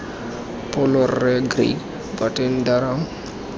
pholo rre craig burton durham